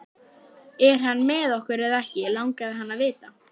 Er hann með okkur eða ekki? langaði hann að vita.